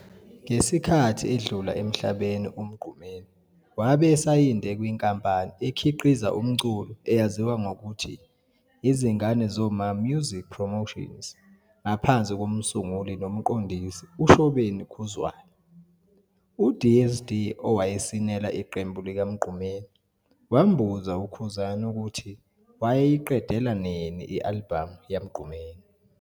Ngesikhathi edlula emhlabeni uMgqumeni wabe esayinde kwinkampani ekhiqiza umculo eyaziwa ngokuthi, Izingane Zoma Music Promotions ngaphansi kom'sunguli nomqondisi uShobeni Khuzwayo. UDSD owayesinela iqembu likaMgqumeni wambuza uKhuzani ukuthi wayeyiqedela nini i-album yaMgqumeni.